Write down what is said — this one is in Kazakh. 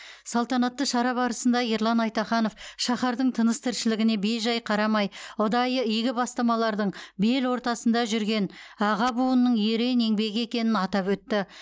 салтанатты шара барысында ерлан айтаханов шаһардың тыныс тіршілігіне бей жай қарамай ұдайы игі бастамалардың бел ортасында жүрген аға буынның ерен еңбегі екенін атап өтті